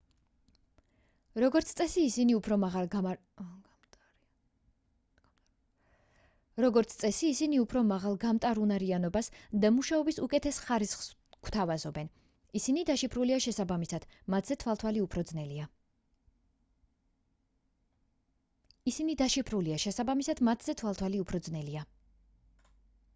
როგორც წესი ისინი უფრო მაღალ გამტარუნარიანობას და მუშაობის უკეთეს ხარისხს გვთავაზობენ ისინი დაშიფრულია შესაბამისად მათზე თვალთვალი უფრო ძნელია